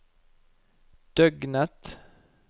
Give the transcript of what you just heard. døgnet